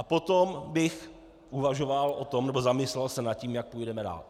A potom bych uvažoval o tom nebo zamyslel se nad tím, jak půjdeme dál.